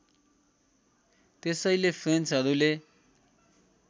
त्यसैले फ्रेन्चहरूले